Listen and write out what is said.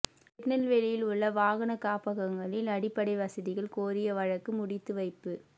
திருநெல்வேலியில் உள்ள வாகனக் காப்பகங்களில் அடிப்படை வசதிகள் கோரிய வழக்கு முடித்து வைப்பு